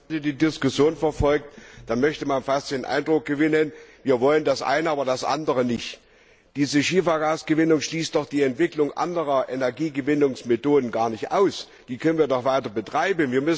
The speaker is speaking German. Herr Präsident! Wenn man hier die Diskussion verfolgt, dann könnte man fast den Eindruck gewinnen, wir wollen das eine, aber das andere nicht. Diese Schiefergasgewinnung schließt doch die Entwicklung anderer Energiegewinnungsmethoden gar nicht aus, die können wir doch weiter betreiben.